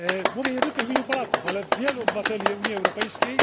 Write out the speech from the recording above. Mówię nie tylko w imieniu Polaków, ale wielu obywateli Unii Europejskiej.